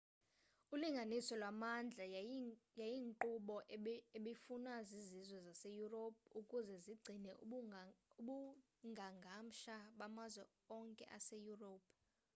ulinganiso lwamandla yayiyinkqubo ebifunwa zizizwe zase-europe ukuze zigcine ubungangamsha bamazwe onke ase-europe